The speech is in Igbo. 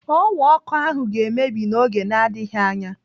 Ọwa ọkụ ahụ ga-emebi n'oge na-adịghị anya.